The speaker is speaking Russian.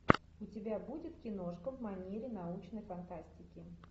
у тебя будет киношка в манере научной фантастики